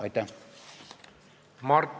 Aitäh!